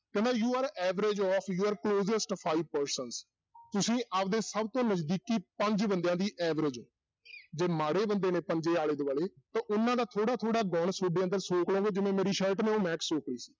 ਕਹਿੰਦਾ you are average of your closest five persons ਤੁਸੀਂ ਆਪਦੇ ਸਭ ਤੋਂ ਨਜ਼ਦੀਕੀ ਪੰਜ ਬੰਦਿਆਂ ਦੀ average ਹੋ ਜੇ ਮਾੜੇ ਬੰਦੇ ਨੇ ਪੰਜੇ ਆਲੇ-ਦੁਆਲੇ ਤੇ ਉਨਾਂ ਦਾ ਥੋੜ੍ਹਾ ਥੋੜ੍ਹਾ ਗੁਣ ਤੁਹਾਡੇ ਅੰਦਰ ਸੋਕ ਲਓਗਾ ਜਿਵੇਂ ਮੇਰੀ shirt ਨੇ ਉਹ ਮਹਿਕ ਸੋਕ ਲਈ ਸੀ